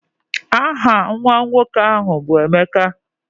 Aha nwa nwoke ahụ bụ Emeka